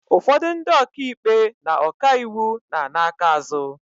Ụfọdụ ndị oka ikpe na ọka iwu na-ana aka azụ.